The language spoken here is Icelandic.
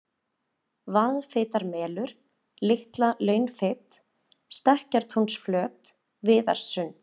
Vaðfitarmelur, Litla-Launfit, Stekkjartúnsflöt, Viðarssund